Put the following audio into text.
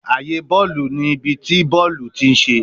Aaye bọọlu ni ibi ti bọọlu ti n ṣe